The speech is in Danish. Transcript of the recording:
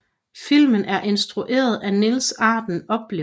Filmen er instrueret af Niels Arden Oplev